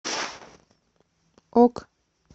ок